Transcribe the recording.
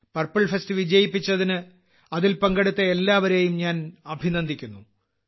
purple fest വിജയിപ്പിച്ചതിന് അതിൽ പങ്കെടുത്ത എല്ലാവരെയും ഞാൻ അഭിനന്ദിക്കുന്നു